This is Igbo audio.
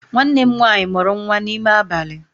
Nwanne m nwaanyị mụrụ nwa n'ime abalị